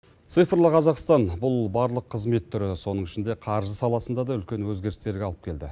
цифрлы қазақстан бұл барлық қызмет түрі соның ішінде қаржы саласында да үлкен өзгерістерге алып келді